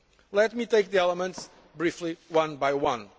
Let me take the five elements briefly one by one.